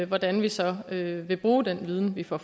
hvordan vi så vil vil bruge den viden vi får